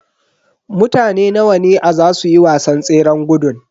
Mutane nawa ne a zasu yi wasan tseran gudun.